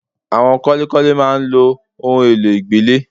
Àwọn kọ́lékọ́lé máa ń lo ohun èlò ìgbẹ́lẹ̀